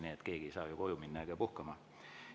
Nii et keegi ei saa minna koju ja heita puhkama.